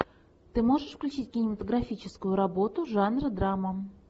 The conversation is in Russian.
ты можешь включить кинематографическую работу жанра драма